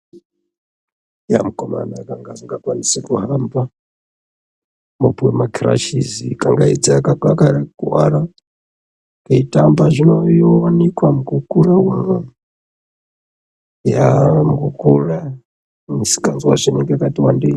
Yaa mukomana anga asingakwanisi kuhamba opiwa makirashisi kangaidze akakuwara keitamba zvinowanika mukura umwo ya mukukura misikanzwa yacho inenge yakati wandei.